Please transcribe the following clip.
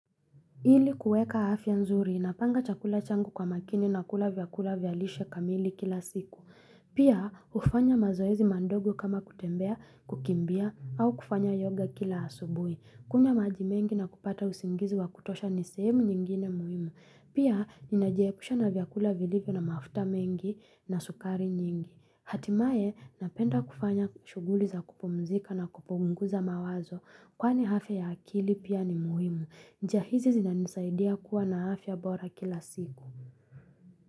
Ili kuweka afya nzuri, napanga chakula changu kwa makini na kula vyakula vya lishe kamili kila siku. Pia hufanya mazoezi madogo kama kutembea, kukimbia, au kufanya yoga kila asubui. Kunywa maji mengi na kupata usingizi wa kutosha ni sehemu nyingine muhimu. Pia, ninajeepusha na vyakula vilivyo na mafuta mengi na sukari nyingi. Hatimaye, napenda kufanya shuguli za kupumzika na kupunguza mawazo. Kwani afya ya akili pia ni muhimu. Njia hizi zinanisaidia kuwa na afya bora kila siku.